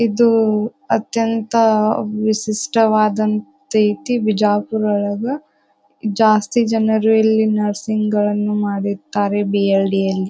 ಇದು ಅತ್ಯಂತ ವಿಶಿಷ್ಟವದಂತೈತಿ ಬಿಜಾಪುರೊಳಗ. ಜಾಸ್ತಿ ಜನರು ಇಲ್ಲಿ ನರ್ಸಿಂಗ್ ಗಳನ್ನೂ ಮಾಡಿರ್ತ್ತಾರೆ ಬಿ.ಎಲ್.ಡಿ. ಅಲ್ಲಿ.